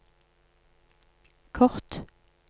kort